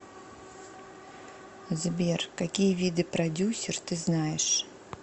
сбер какие виды продюсер ты знаешь